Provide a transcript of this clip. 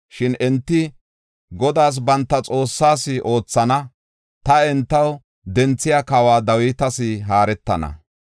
Shin enti Godaas, banta Xoossaas, oothana; ta entaw denthiya kawa Dawitas haaretana.